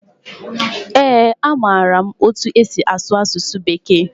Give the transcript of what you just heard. Ee, amaara m etu esi asụ asụsụ Bekee.